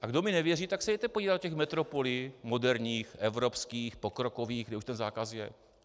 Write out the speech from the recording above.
A kdo mi nevěří, tak se jděte podívat do těch metropolí, moderních, evropských, pokrokových, kde už ten zákaz je.